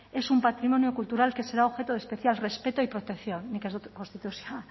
es un patrimonio cultural que será objeto de especial respeto y protección nik ez dut konstituzioa